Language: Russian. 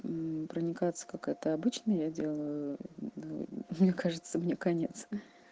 мм проникаться как это обычно я делаю мне кажется мне конец